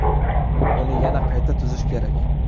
Uni yana qayta tuzish kerak.